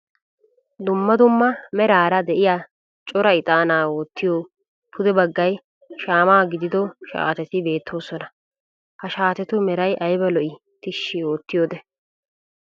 Dumma dumma meraara de'iyaa cora ixaanna wortiyo pude baggay shaama gididdo shaatetti beettoosona, ha shaatettu meray ayba lo"i tishi oottiyode.